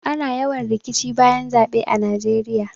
Ana yawan rikici bayan zaɓe a najeiya